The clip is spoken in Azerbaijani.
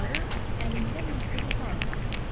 Qarı əlində məktub otağa qayıtdı.